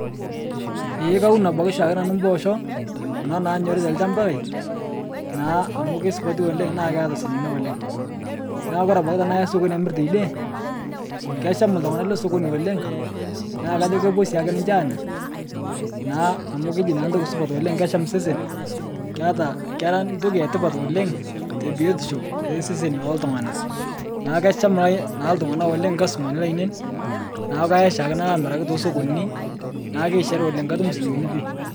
Eee kaun abaki shaake nanu imboosho kuna nanyori telchamba lai, naa amu keisupati oleng' naa keata silinkini oleng',naa kore abaki tanaya sokoni amir teide, keesham ltung'ana lesokoni oleng' naa kajo kopo sii ake ninche aaanya naa amu keji ntoki supat oleng' kesham sesen, keata kera ntoki etipat oleng' tebiotisho eseseni looltung'ana. Naa kesham ltung'ana oleng' lkasutumani lainen, na kaya shaake nalo amiraki te sokonini, naa keishari oleng' katum silinkini pii.